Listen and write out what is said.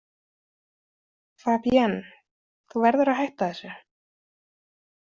Fabienne, þú verður að hætta þessu.